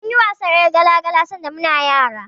Mun yi wasan ƴar gala-gala sanda muna yara.